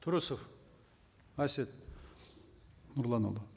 тұрысов әсет нұрланұлы